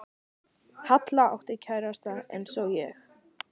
Halla átti kærasta eins og ég.